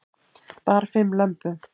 Bar fimm lömbum